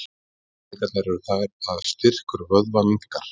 afleiðingarnar eru þær að styrkur vöðva minnkar